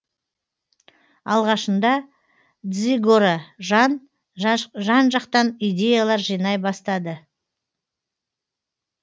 алғашында дзигоро жан жақтан идеялар жинай бастады